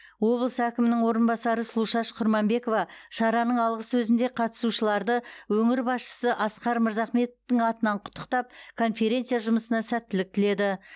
облыс әкімінің орынбасары сұлушаш құрманбекова шараның алғы сөзінде қатысушыларды өңір басшысы асқар мырзахметовтың атынан құттықтап конференция жұмысына сәттілік тіледі